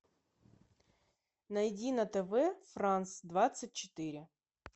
найди на тв франс двадцать четыре